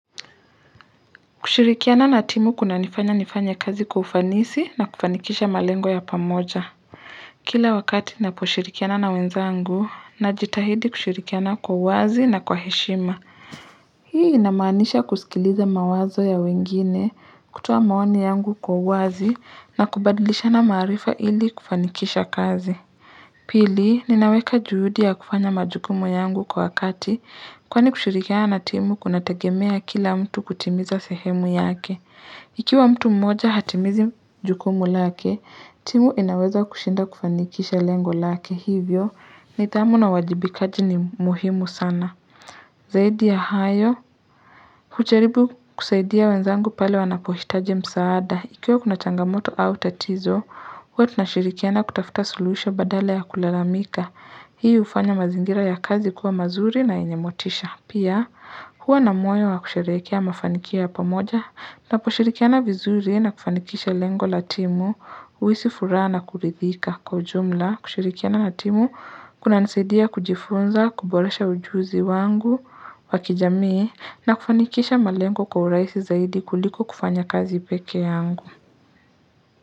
Kushirikiana na timu kuna nifanya nifanye kazi kwa ufanisi na kufanikisha malengo ya pamoja. Kila wakati naposhirikiana na wenzangu na jitahidi kushirikiana kwa wazi na kwa heshima. Hii inamaanisha kusikiliza mawazo ya wengine kutuoa maoni yangu kwa wazi na kubadlisha na maarifa ili kufanikisha kazi. Pili, ninaweka juhudi ya kufanya majukumu yangu kwa wakati kwani kushirikiana na timu kuna tegemea kila mtu kutimiza sehemu yake. Ikiwa mtu mmoja hatimizi jukumu lake timu inaweza kushinda kufanikisha lengo lake hivyo nithamu na uwajibikaji ni muhimu sana Zaidi ya hayo hujaribu kusaidia wenzangu pale wanapohitaji msaada ikiwa kuna changamoto au tatizo Hua tunashirikiana kutafuta suluhisho badala ya kulalamika hii ufanya mazingira ya kazi kuwa mazuri na enyemotisha pia Hua na moyo wa kusherekea mafanikio ya pamoja na po shirikiana vizuri na kufanikisha lengo latimu uisi furaa na kuridhika kwa ujumla kushirikiana natimu kuna nisedia kujifunza kuboresha ujuzi wangu wakijamii na kufanikisha malengo kwa uraisi zaidi kuliko kufanya kazi peke yangu.